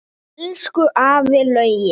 Elsku afi Laugi.